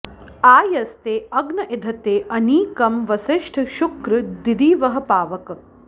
आ यस्ते अग्न इधते अनीकं वसिष्ठ शुक्र दीदिवः पावक